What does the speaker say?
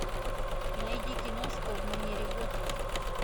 найди киношку в манере готики